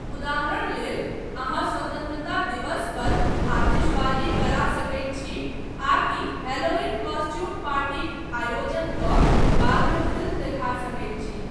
उदाहरण लेल, अहाँ स्वतन्त्रता दिवस पर आतिशबाजी करा सकैत छी आकि हैलोवीन कॉस्ट्यूम पार्टीक आयोजन कऽ बादमे फिल्म देखा सकैत छी।